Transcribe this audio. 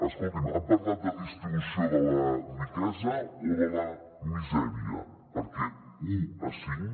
escolti’m han parlat de distribució de la riquesa o de la misèria perquè u a cinc